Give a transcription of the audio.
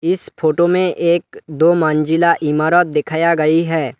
इस फोटो में एक दो मंजिला इमारत दिखाया गई है।